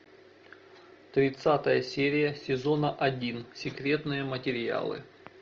тридцатая серия сезона один секретные материалы